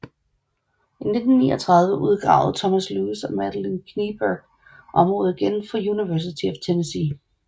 I 1939 udgravede Thomas Lewis og Madeline Kneeburg området igen for University of Tennessee